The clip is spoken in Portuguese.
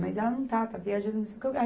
Mas ela não está, está viajando, não sei o quê.